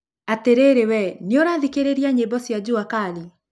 atĩrĩrĩwe nĩũrathikĩrĩria nyĩmbo cia jua kali